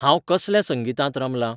हांंव कसल्या संगितांत रमलां?